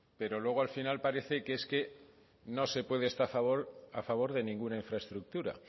pero luego al final parece que no se puede estar a favor de ninguna infraestructura